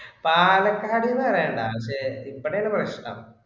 പാലക്കാടു എന്ന് പറയേണ്ട അത് ഇവിടെയാണ് പ്രശ്‍നം.